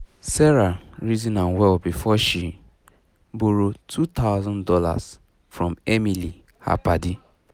sarah reason am well before she um borrow two thousand dollars um from emily um her padi